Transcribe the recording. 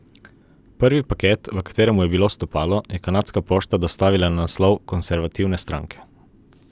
Prvi paket, v katerem je bilo stopalo, je kanadska pošta dostavila na naslov konservativne stranke.